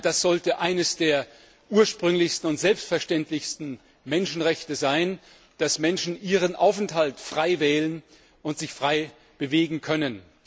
Das sollte eines der ursprünglichsten und selbstverständlichsten Menschenrechte sein, dass Menschen ihren Aufenthalt frei wählen und sich frei bewegen können.